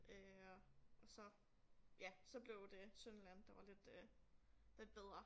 Øh og og så ja så blev det Sønderjylland der var lidt øh lidt bedre